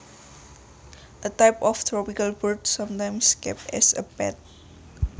A type of tropical bird sometimes kept as a pet